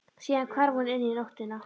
Síðan hvarf hún inn í nóttina.